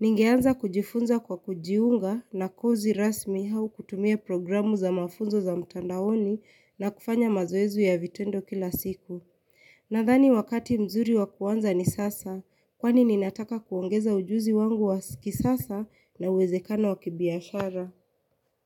Ningeanza kujifunza kwa kujiunga na kozi rasmi hau kutumia programu za mafunzo za mtandaoni na kufanya mazoezi ya vitendo kila siku. Nadhani wakati mzuri wa kuanza ni sasa, kwani ninataka kuongeza ujuzi wangu wa kisasa na uwezekano wa kibiashara.